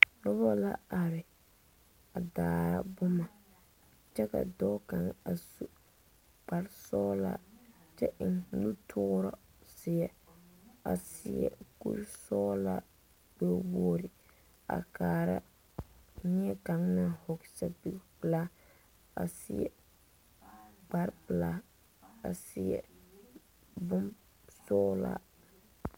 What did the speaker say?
Noba la are daare boma kyɛ ka dɔɔ kaŋa a su kpare sɔglaa kyɛ eŋ nutoori zie a seɛ kuri sɔglaa gbɛ wogre a kaara neɛ kaŋ naŋ vɔgle sapeg pilaa a seɛ kpare pilaa a seɛ boŋ sɔglaa.